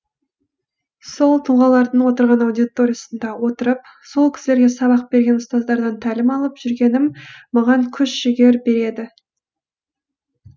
сол тұлғалардың отырған аудиториясында отырып сол кісілерге сабақ берген ұстаздардан тәлім алып жүргенім маған күш жігер береді